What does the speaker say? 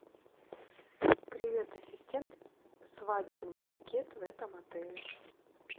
привет ассистент свадебный пакет в этом отеле